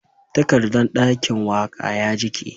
Takardan dakin waka ya jike